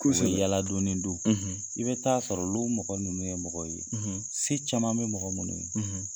Kosɛbɛ u be yaala du ni du. i bɛ taa sɔrɔ olu mɔgɔ ninnu ye mɔgɔ ye, se caman be mɔgɔ munnu ye